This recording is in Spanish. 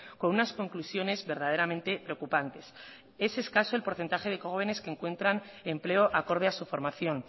con unas conclusiones verdaderamente preocupantes es escaso el porcentaje de jóvenes que encuentran empleo acorde a su formación